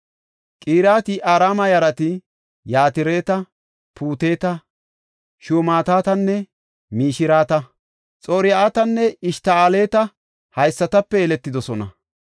Qiriyat-Yi7aarima yarati Yatireta, Puuteta, Shumaatetanne Mishireta. Xor7atinne Eshta7ooleti haysatape yeletidosona.